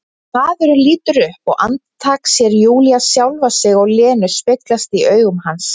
Maðurinn lítur upp og andartak sér Júlía sjálfa sig og Lenu speglast í augum hans.